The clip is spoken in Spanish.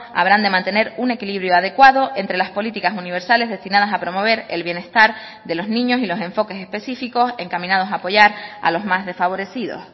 habrán de mantener un equilibrio adecuado entre las políticas universales destinadas a promover el bienestar de los niños y los enfoques específicos encaminados a apoyar a los más desfavorecidos